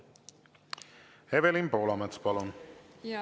Evelin Poolamets, palun!